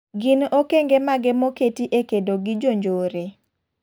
Gin okeng'e mage moketi e kedo gi jonjore?